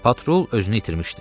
Patrul özünü itirmişdi.